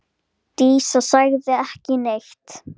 Dísa sagði ekki neitt.